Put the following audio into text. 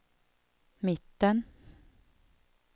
mitten